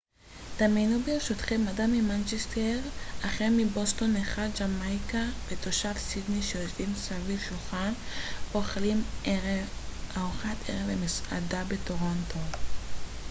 דמיינו ברשותכם אדם ממנצ'סטר אחר מבוסטון אחד ג'מייקה ותושב סידני שיושבים סביב שולחן ואוכלים ארוחת ערב במסעדה בטורונטו